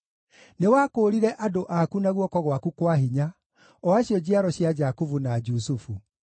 Nĩwakũũrire andũ aku na guoko gwaku kwa hinya, o acio njiaro cia Jakubu na Jusufu.